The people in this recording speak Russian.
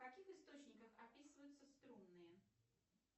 в каких источниках описываются струнные